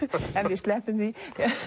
við sleppum því